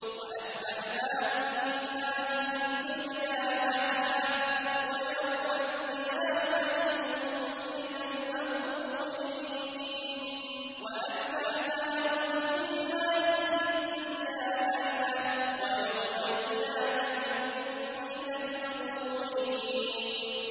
وَأَتْبَعْنَاهُمْ فِي هَٰذِهِ الدُّنْيَا لَعْنَةً ۖ وَيَوْمَ الْقِيَامَةِ هُم مِّنَ الْمَقْبُوحِينَ